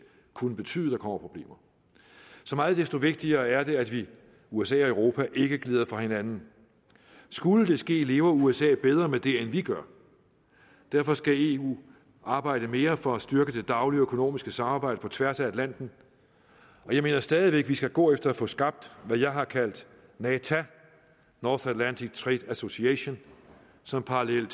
kunne betyde at der kommer problemer så meget desto vigtigere er det at vi usa og europa ikke glider fra hinanden skulle det ske lever usa bedre med det end vi gør derfor skal eu arbejde mere for at styrke det daglige og økonomiske samarbejde på tværs af atlanten og jeg mener stadig væk at vi skal gå efter at få skabt hvad jeg har kaldt nata north atlantic trade association som parallel